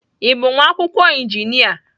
Ị bụ nwa akwụkwọ injinia?